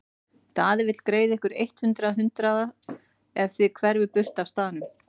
Daði vill greiða ykkur eitt hundrað hundraða ef þið hverfið burt af staðnum.